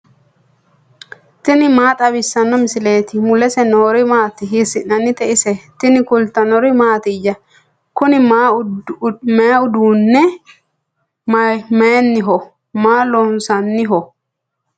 tini maa xawissanno misileeti ? mulese noori maati ? hiissinannite ise ? tini kultannori mattiya? Kunni maa uduunni mayiiniho? Maa loosi'naniho?